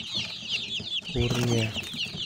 пурния